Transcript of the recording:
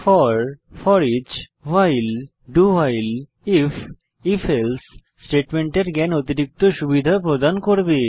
four foreach while এবং do while if এবং if else স্টেটমেন্টের জ্ঞান অতিরিক্ত সুবিধা প্রদান করবে